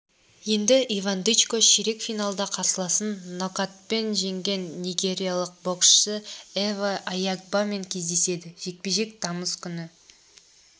енді иван дычко ширек финалда қарсыласын нокатпен жеңген нигериялық боксшы эфе аягбамен кездеседі жекпе-жек тамыз күні